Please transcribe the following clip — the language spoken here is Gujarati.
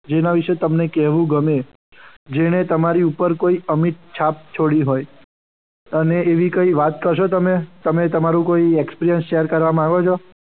જેના વિશે તમને કહેવું ગમે. જેણે તમારી ઉપર કોઈ અમિત છાપ છોડી હોય. અને એવી કોઈ વાત કરશો તમે તમે તમારું કોઈ experience share કરવા માંગો છો.